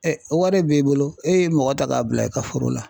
o wari b'e bolo e ye mɔgɔ ta k'a bila i ka foro la.